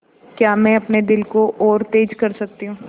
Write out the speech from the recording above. क्या मैं अपने दिल को और तेज़ कर सकती हूँ